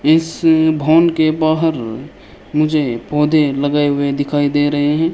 इस भवन के बाहर मुझे पौधे लगे हुए दिखाई दे रहे है।